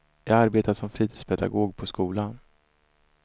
Jag arbetar som fritidspedagog på skola.